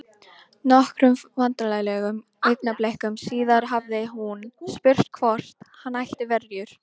Nokkrum vandræðalegum augnablikum síðar hafði hún spurt hvort hann ætti verjur?